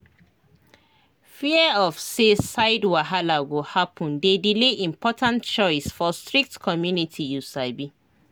fear of say side wahala go happen dey delay important choice for strict community you sabi